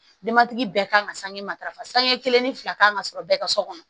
Denbatigi bɛɛ kan ka sange matarafa sange kelen ni fila kan ka sɔrɔ bɛɛ ka so kɔnɔ